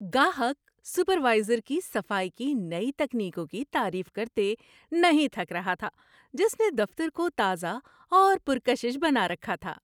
گاہک سپروائزر کی صفائی کی نئی تکنیکوں کی تعریف کرتے نہیں تھک رہا تھا جس نے دفتر کو تازہ اور پر کشش بنا رکھا تھا۔